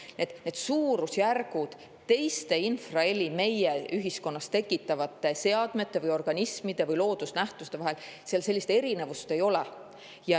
suurusjärkudega, millist infraheli tekitavad teised meie ühiskonnas seadmed, organismid või loodusnähtused, seal erinevust ei ole.